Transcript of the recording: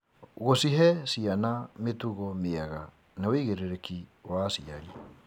Gũcihe ciana mĩtugo mĩega nĩ wĩigĩrĩrĩki wa aciari.